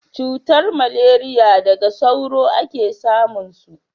cutar maleriya daga sauro a ke samun su